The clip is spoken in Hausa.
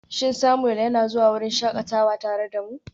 Shin Samuel yana zuwa wurin shakatawa tare da mu?